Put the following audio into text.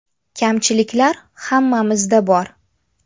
Kamchiliklar hammamizda bor.